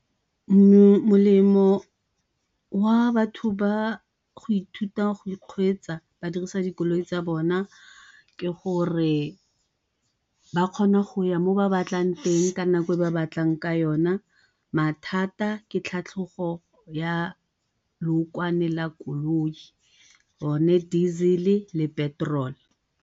molemo wa batho ba go ithuta go kgweetsa ba dirisa dikoloi tsa bona ke gore ba kgona go ya mo ba batlang teng ka nako e ba batlang ka yona, mathata ke tlhatlhogo ya lookwane la koloi, yone diesel le petrol.